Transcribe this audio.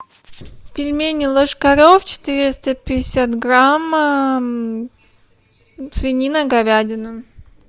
пельмени ложкарев четыреста пятьдесят грамм свинина говядина